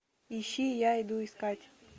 ищи я иду искать